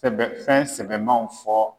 Sɛbɛfɛn sɛmaw fɔ.